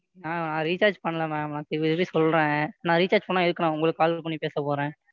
நான் நான் Recharge பண்ணலை Ma'am நான் சொல்றேன் நான் Recharge பண்ணா எதுக்கு நான் உங்களுக்கு Call பண்ணி பேச போறேன்?